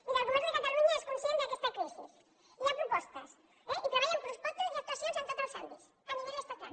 miri el govern de catalunya és conscient d’aquesta crisi hi ha propostes eh i treballa amb propostes i actuacions en tots els àmbits a nivell estatal